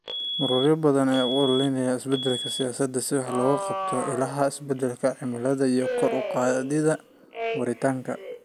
Ururo badan ayaa u ololeeya isbeddelada siyaasadda si wax looga qabto ilaha isbeddelka cimilada iyo kor u qaadida waaritaanka.